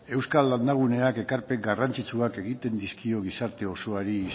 euskal landa guneak ekarpen garrantzitsu bat egiten dizkio gizarte osoari